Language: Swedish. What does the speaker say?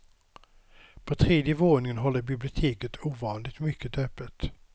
På tredje våningen håller biblioteket ovanligt mycket öppet.